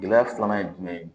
Gɛlɛya filanan ye jumɛn ye